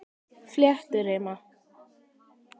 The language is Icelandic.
Flétturima